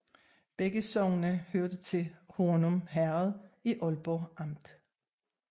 Begge sogne hørte til Hornum Herred i Ålborg Amt